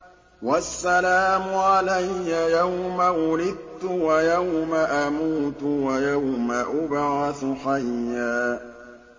وَالسَّلَامُ عَلَيَّ يَوْمَ وُلِدتُّ وَيَوْمَ أَمُوتُ وَيَوْمَ أُبْعَثُ حَيًّا